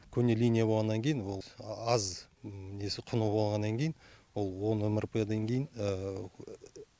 көне линия болғаннан кейін ол аз несі құны болғаннан кейін ол он мрп дан дейін